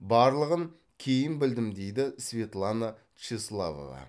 барлығын кейін білдім дейді светлана тщеславова